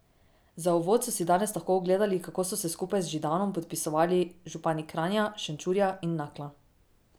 Za uvod so si danes lahko ogledali, kako so se skupaj z Židanom podpisovali župani Kranja, Šenčurja in Nakla.